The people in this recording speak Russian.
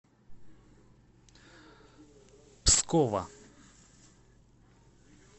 пскова